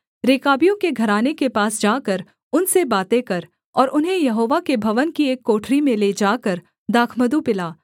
रेकाबियों के घराने के पास जाकर उनसे बातें कर और उन्हें यहोवा के भवन की एक कोठरी में ले जाकर दाखमधु पिला